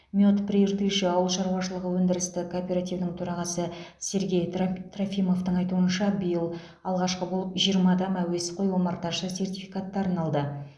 мед прииртышья ауыл шаруашылығы өндірістік кооперативінің төрағасы сергей траф трофимовтің айтуынша биыл алғашқы болып жиырма адам әуесқой омарташы сертификаттарын алды